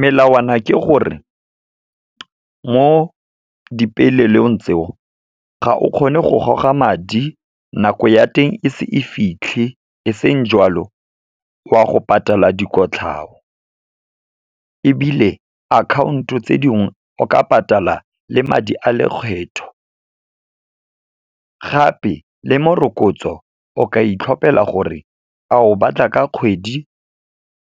Melawana ke gore, mo dipeelelong tseo, ga o kgone go goga madi, nako ya teng e se e fitlhe, e seng joalo wa go patala dikotlhao, ebile akhaonto tse dingwe, o ka patala le madi a lekgetho. Gape, le morokotso o ka itlhopela gore a o batla ka kgwedi,